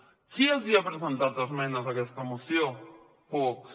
qui els hi ha presentat esmenes a aquesta moció vox